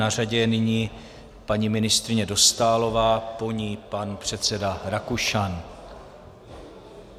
Na řadě je nyní paní ministryně Dostálová, po ní pan předseda Rakušan.